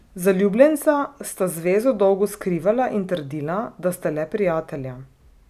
Zaljubljenca sta zvezo dolgo skrivala in trdila, da sta le prijatelja.